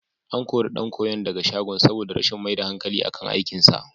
An kori ɗan koyon daga shagon saboda rashin mai da hankali akan aikinsa.